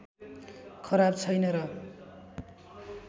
खराब छैन र